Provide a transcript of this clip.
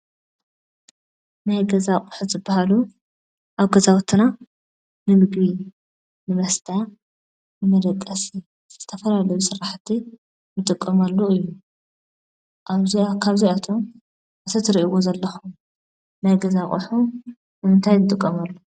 ናይ ገዛ አቑሑ ዝበሃሉ አብ ገዛውቲና ንምግቢ፣ ንመስተ፣ ንመደቀሲ ዝተፈላለዩ ስራሕቲ ንጥቀመሉ እዩ፡፡ ካብዚአቶም እቲ ትሪእዎ ዘለኹም ናይ ገዛ አቑሑ ንምንታይ ንጥቀመሉ?